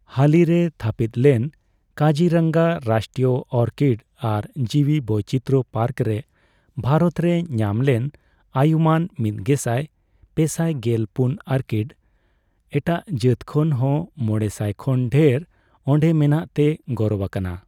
ᱦᱟᱹᱞᱤ ᱨᱮ ᱛᱷᱟᱹᱯᱤᱛ ᱞᱮᱱ ᱠᱟᱡᱤ ᱨᱟᱝᱜᱟ ᱨᱟᱥᱴᱨᱤᱭᱚ ᱚᱨᱠᱤᱰ ᱟᱨ ᱡᱤᱣᱤ ᱵᱳᱭᱪᱤᱛᱟᱹᱨ ᱯᱟᱨᱠ ᱨᱮ ᱵᱷᱟᱨᱚᱛ ᱨᱮ ᱧᱟᱢ ᱞᱮᱱ ᱟᱹᱭᱩᱢᱟᱹᱱ ᱢᱤᱫᱜᱮᱥᱟᱭ ᱯᱮᱥᱟᱭ ᱜᱮᱞ ᱯᱩᱱ ᱚᱨᱠᱤᱰ ᱮᱴᱟᱜ ᱡᱟᱹᱛ ᱠᱷᱚᱱ ᱦᱚᱸ ᱢᱚᱲᱮ ᱥᱟᱭ ᱠᱷᱚᱱ ᱰᱷᱮᱨ ᱚᱰᱮᱸ ᱢᱮᱱᱟᱜ ᱛᱮᱭ ᱜᱚᱨᱚᱵ ᱟᱠᱟᱱᱟ ᱾